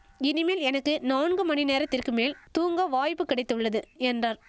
இனிமேல் எனக்கு நான்கு மணி நேரத்திற்கு மேல் தூங்க வாய்ப்பு கிடைத்துள்ளது என்றார்